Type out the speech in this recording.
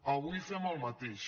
avui fem el mateix